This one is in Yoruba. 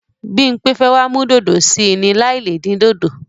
Bímpé fẹ́ wá mú dòdò sí í ni láì le dín dòdò.